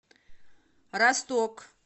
росток